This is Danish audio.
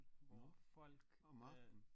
Nåh om aftenen